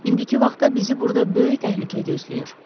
İndiki vaxtda bizi burda böyük təhlükə gözləyir.